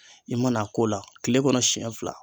I mana a k'o la kile kɔnɔ sɛn fila